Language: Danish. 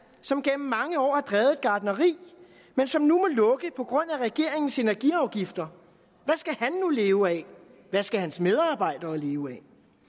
år som gennem mange år har drevet et gartneri men som nu må lukke på grund af regeringens energiafgifter hvad skal han nu leve af hvad skal hans medarbejdere leve af